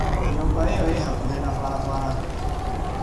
Nyũmba ĩyo ĩĩ hakuhĩ na barabara.